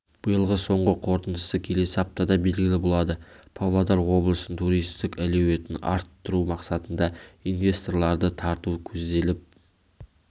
биылғы соңғы қорытындысы келесі аптада белгілі болады павлодар облысының туристік әлеуетін арттыру мақсатында инвесторларды тарту көзделіп